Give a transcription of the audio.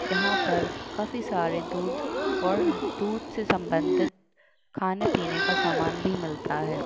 यहाँ पे काफी सारे दूध और दूध से सम्बंधित खाने पीने का सामान भी मिलता है।